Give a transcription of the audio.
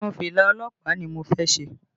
Irun fìlà ọlọ́pàá ni mo fẹ́ ṣe